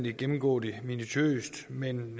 ikke gennemgå det minutiøst men